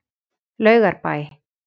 Laugarbæ